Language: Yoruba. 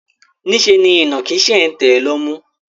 Niṣẹ́ ni ìnàkí ṣe ń tẹ̀ lọ́mú.